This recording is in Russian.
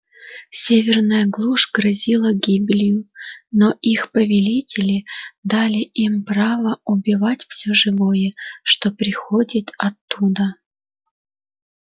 северная глушь грозила гибелью но их повелители дали им право убивать всё живое что приходит оттуда